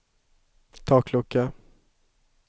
taklucka